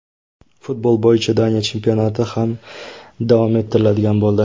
Futbol bo‘yicha Daniya chempionati ham davom ettiriladigan bo‘ldi.